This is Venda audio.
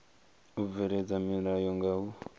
u bveledza milayo nga u